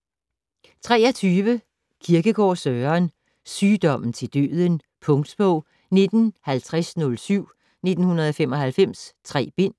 23 Kierkegaard, Søren: Sygdommen til Døden Punktbog 195007 1995. 3 bind.